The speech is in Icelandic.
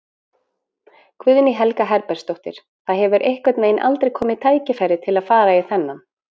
Guðný Helga Herbertsdóttir: Það hefur einhvern veginn aldrei komið tækifæri til að fara í þennan?